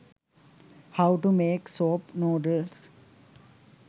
how to make soap noodles